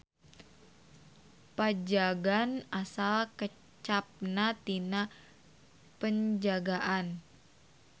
Pajagan asal kecapna tina Penjagaan.